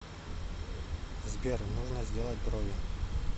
сбер нужо сделать брови